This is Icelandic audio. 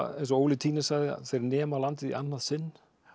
eins og Óli Tynes sagði þeir nema landið í annað sinn